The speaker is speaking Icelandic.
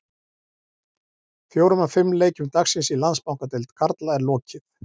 Fjórum af fimm leikjum dagsins í Landsbankadeild karla er lokið.